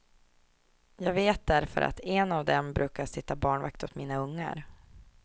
Jag vet därför att en av dem brukar sitta barnvakt åt mina ungar.